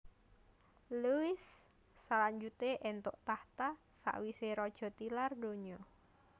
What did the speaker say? Louis salanjuté éntuk tahta sawisé raja tilar donya